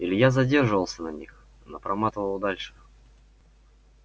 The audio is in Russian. илья задерживался на них но проматывал дальше